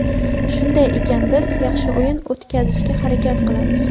Shunday ekan biz yaxshi o‘yin o‘tkazishga harakat qilamiz.